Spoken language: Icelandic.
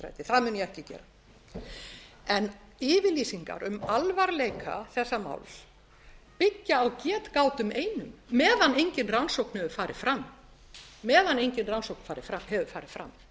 ekki gera en yfirlýsingar um alvarleika þessa máls byggja á getgátum einum meðan engin rannsókn hefur farið fram